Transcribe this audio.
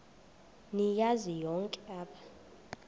niyazi nonk apha